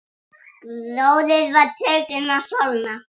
Gróður var tekinn að sölna.